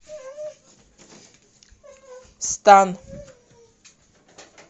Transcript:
стан